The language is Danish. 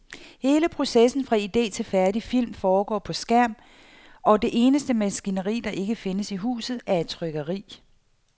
Hele processen fra ide til færdig film foregår på skærm, og det eneste maskineri, der ikke findes i huset, er et trykkeri.